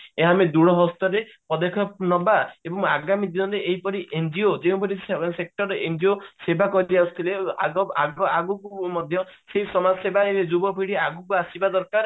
ଏହା ଆମେ ଦୂର ହସ୍ତ ରେ ପଦକ୍ଷେପ ନବା ଏବଂ ଆଗାମୀ ଦିନରେ ଏହିପରି NGO ଯେଉଁପରି sector ରେ NGO ସେବା କରି ଆସୁଥିଲେ ଆଗ ଆଗ ଆଗକୁ ମଧ୍ୟ ସେହି ସମାଜ ପିଡି ଆଗକୁ ଆସିବା ଦରକାର